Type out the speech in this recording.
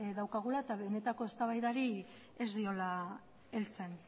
daukagula eta benetako eztabaidari ez diola heltzen